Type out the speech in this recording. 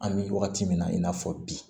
An bɛ wagati min na i n'a fɔ bi